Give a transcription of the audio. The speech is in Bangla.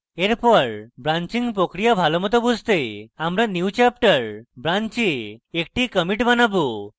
এরপর branching প্রক্রিয়া ভালোমত বুঝতে আমরা newchapter branch a একটি commit বানাবো